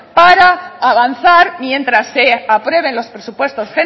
para avanzar mientras se aprueben los presupuestos